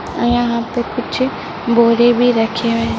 यहां पर एक मंदिर है एक घंटी भी है यहां पर कुछ बोरे भी रखे हुए हैं।